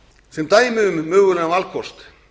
sem dæmi um mögulegan valkost